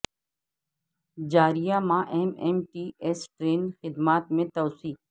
جاریہ ماہ M M T S train خدمات میں توسیع